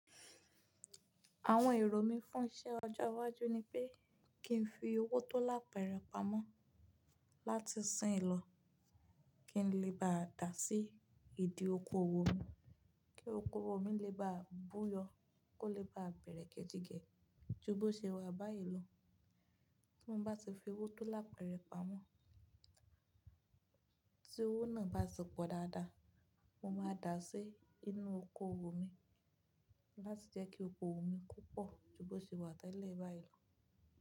Àwọn èrò mí fún iṣẹ́ ọjọ́ iwájú ni pé kí n fi owó tó lápẹ̀rẹ̀ pamọ́ láti ṣín lọ, kí n lè bá dà á sí ìdí oko owó mi, kí oko owó mi lè bá bú yọ, kó lè bá bẹ̀rẹ̀ kejìgẹ̀ ju bó ṣe wà báyìí lọ. Bí mo bá ti fi owó tó lápẹ̀rẹ̀ pamọ́, tí owó náà bá ti pọ̀ dáadáa, mo máa dà á sí inú oko owó mi láti jẹ́ kí oko owó mi púpọ̀ ju bó ṣe wà tẹ́lẹ̀ báyìí lọ.